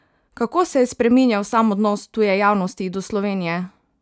Kako se je spreminjal sam odnos tuje javnosti do Slovenije?